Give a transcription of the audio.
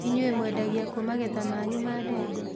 Inyuĩ mwendagia kũ magetha manyu ma ndengũ?